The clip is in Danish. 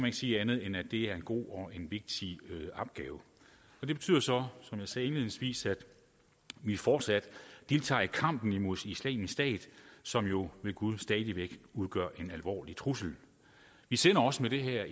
ikke sige andet end at det er en god og en vigtig opgave det betyder så som jeg sagde indledningsvis at vi fortsat deltager i kampen imod islamisk stat som jo ved gud stadig væk udgør en alvorlig trussel vi sender også med det her